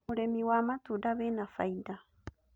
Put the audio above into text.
Ũrĩmi wa matunda wĩna faida